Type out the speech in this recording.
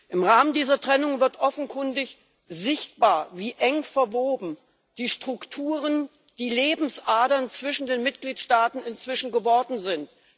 Im Rahmen dieser Trennung wird offenkundig sichtbar, wie eng verwoben die Strukturen, die Lebensadern zwischen den Mitgliedstaaten inzwischen geworden sind.